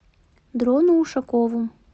дрону ушакову